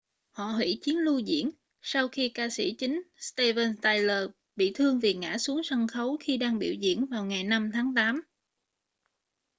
họ hủy chuyến lưu diễn sau khi ca sĩ chính steven tyler bị thương vì ngã xuống sân khấu khi đang biểu diễn vào ngày 5 tháng tám